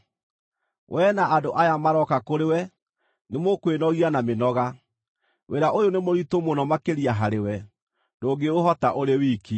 Wee, na andũ aya marooka kũrĩ we nĩmũkwĩnogia na mĩnoga. Wĩra ũyũ nĩ mũritũ mũno makĩria harĩwe; ndũngĩũhota ũrĩ wiki.